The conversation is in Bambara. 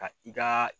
Ka i ka